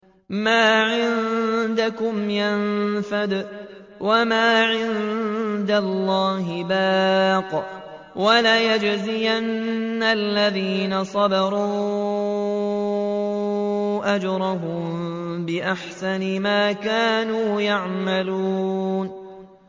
مَا عِندَكُمْ يَنفَدُ ۖ وَمَا عِندَ اللَّهِ بَاقٍ ۗ وَلَنَجْزِيَنَّ الَّذِينَ صَبَرُوا أَجْرَهُم بِأَحْسَنِ مَا كَانُوا يَعْمَلُونَ